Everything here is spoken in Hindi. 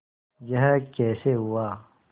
यह कैसे हुआ